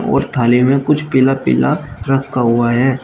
और थाली में कुछ पिला पिला रखा हुआ है।